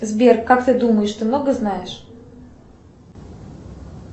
сбер как ты думаешь ты много знаешь